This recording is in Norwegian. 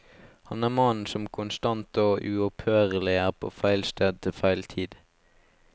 Han er mannen som konstant og uopphørlig er på feil sted til feil tid.